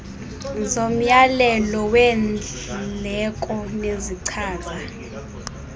zomyalelo weendleko nezichaza